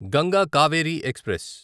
Ganga Kaveri express